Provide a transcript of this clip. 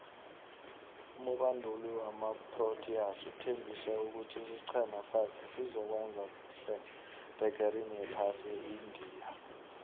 umubanduli wamaproteas uthembise ukuthi isicema sakhe sizokuwenza khuhle ebegerini yephasi eindia